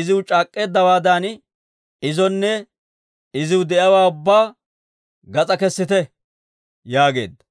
iziw c'aak'k'eeddawaadan, izonne iziw de'iyaawaa ubbaa gas'aa kessite» yaageedda.